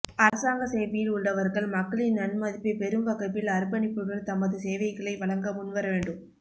அரசாங்க சேவையில் உள்ளவர்கள் மக்களின் நன்மதிப்பை பெறும்வகையில் அர்ப்பணிப்புடன் தமது சேவைகளை வழங்க முன்வரவேண்டும்